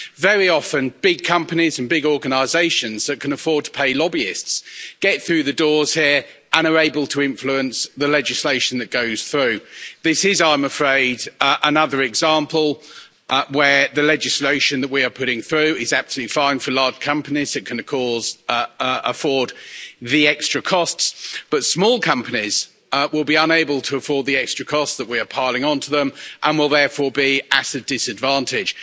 Very often big companies and big organisations that can afford to pay lobbyists get through the doors here and are able to influence the legislation that goes through. This is, I am afraid, another example where the legislation that we are putting through is absolutely fine for large companies that can afford the extra costs, but small companies will be unable to afford the extra costs that we are piling onto them and will therefore be at a disadvantage.